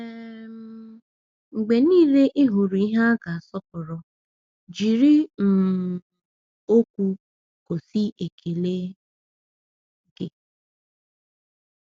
um Mgbe niile ị hụrụ ihe a ga-asọpụrụ, jiri um okwu gosi ekele gị.